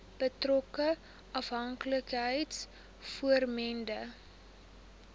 betrokke afhanklikheids vormende